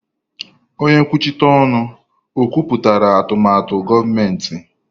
Onye nkwuchite ọnụ, o kwupụtara atụmatụ gọọmentị.